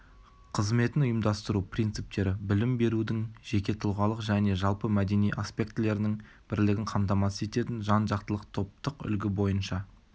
қызметін ұйымдастыру принциптері білім берудің жеке-тұлғалық және жалпы мәдени аспектілерінің бірлігін қамтамасыз ететін жан-жақтылық топтық үлгі бойынша